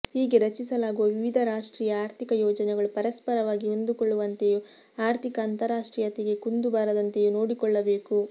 ಹೀಗೆ ರಚಿಸಲಾಗುವ ವಿವಿಧ ರಾಷ್ಟ್ರೀಯ ಆರ್ಥಿಕ ಯೋಜನೆಗಳು ಪರಸ್ಪರವಾಗಿ ಹೊಂದಿಕೊಳ್ಳುವಂತೆಯೂ ಆರ್ಥಿಕ ಅಂತಾರಾಷ್ಟ್ರೀಯತೆಗೆ ಕುಂದು ಬಾರದಂತೆಯೂ ನೋಡಿಕೊಳ್ಳಬೇಕು